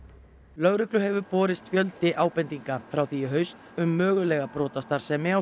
lögreglu hefur borist fjöldi ábendinga frá því í haust um mögulega brotastarfsemi á